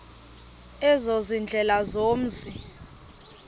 ezo ziindlela zomzi